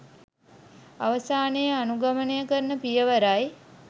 අවසානයේ අනුගමනය කරන පියවරයි.